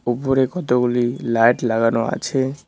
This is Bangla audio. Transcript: উপরে কতগুলি লাইট লাগানো আছে।